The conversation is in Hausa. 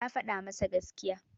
Ta faɗa masa gaskiya.